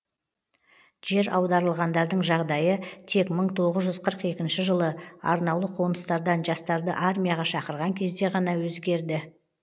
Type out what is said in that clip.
жер аударылғандардың жағдайы тек мың тоғыз жүз қырық екінші жылы арнаулы қоныстардан жастарды армияға шақырған кезде ғана өзгерді